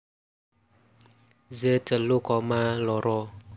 Z telu koma loro